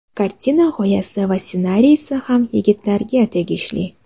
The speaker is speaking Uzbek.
Kartina g‘oyasi va ssenariysi ham yigitlarga tegishli.